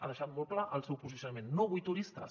ha deixat molt clar el seu posicionament no vull turistes